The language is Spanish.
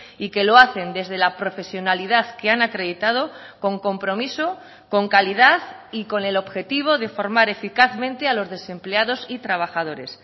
y que lo hacen desde la profesionalidad que han acreditado con compromiso con calidad y con el objetivo de formar eficazmente a los desempleados y trabajadores